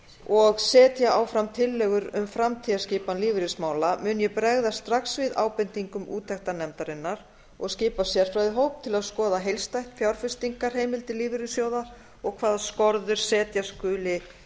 og setja áfram tillögur um framtíðarskipan lífeyrismála mun ég bregðast strax við ábendingum úttektarnefndarinnar og skipa sérfræðihóp til að skoða heildstætt fjárfestingarheimildir lífeyrissjóða og hvaða skorður setja skuli